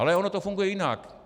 Ale ono to funguje jinak.